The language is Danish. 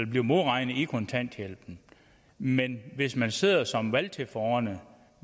bliver modregnet i kontanthjælpen men hvis man sidder som valgtilforordnet